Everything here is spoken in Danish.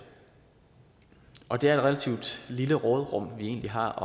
og det er et relativt lille råderum vi egentlig har